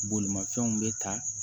Bolimafɛnw bɛ ta